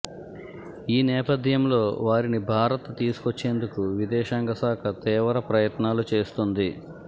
ఈ నేపథ్యంలో వారిని భారత్ తీసుకొచ్చేందుకు విదేశాంగ శాఖ తీవ్ర ప్రయత్నాలు చేస్తోంది